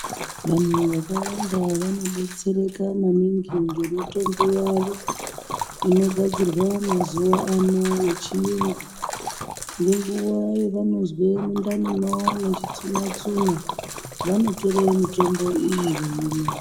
Vanhu vaka vanda vano betsereka maningi nge mitombo yavo inogadzirwa mazuva ano ye chiyungu ngenguva yavanonzwe mundani mavo mechi tsuna tsuna vano tore mitombo iyi.